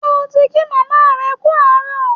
Ṣé o ti kí màmá rẹ kú àárọ̀?